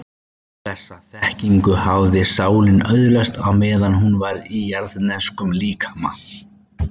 Þessa þekkingu hafði sálin öðlast meðan hún var ekki í jarðneskum líkama.